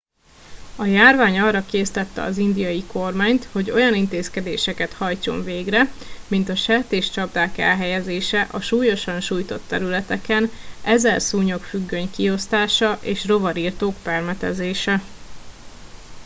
a járvány arra késztette az indiai kormányt hogy olyan intézkedéseket hajtson végre mint a sertéscsapdák elhelyezése a súlyosan sújtott területeken ezer szúnyogfüggöny kiosztása és rovarirtók permetezése